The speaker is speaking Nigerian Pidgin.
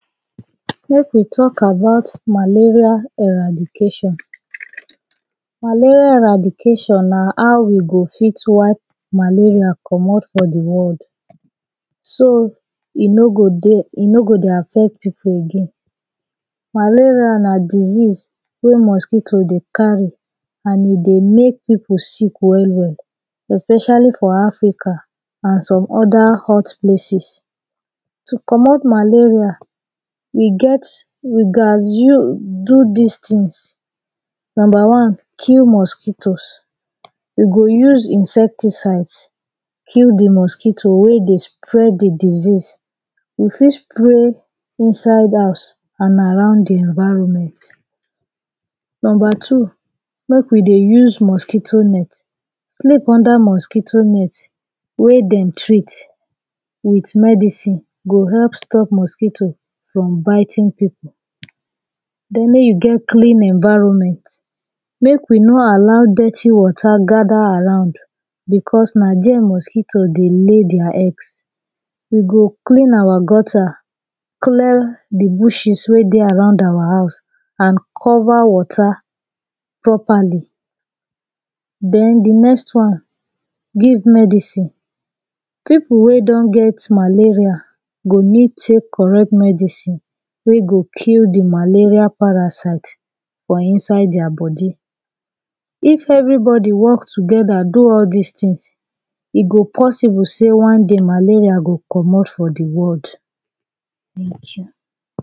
Mek we talk about malaria eradication Malaria eradication na how we go fit wipe malaria comot for de world so e no go dey e no go dey affect people again. Malaria na disease wey mosquito dey carry an e dey mek people sick well well especially for Africa an some oda hot places. To comot malaria we get We gast do dis tings number one kill mosquitos we go use insecticides kill de mosquito wey dey spread the disease e fit spray inside house and around the environment Number two mek we dey use mosquito net sleep unda mosquito net wey dem treat wit medicine e go help stop mosquito from biting people. den mek you get clean environments Mek we no allow dirty wata gada around becos na die mosquito dey lay dia eggs e go clean our gutter clear de bushes wey dey around awa house an cover wata properly den de next one give medicine; people wey don get malaria go need tek correct medicine wey go kill the malaria parasite fit inside dia body if everybody work togeda do all dis tingz e go possible seh one day malaria go comot for de world